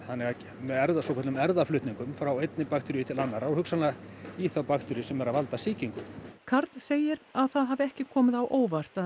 með svokölluðum frá einni bakteríu til annarrar og hugsanlega í þá bakteríu sem er að valda sýkingum karl segir að það hafi ekki komið á óvart að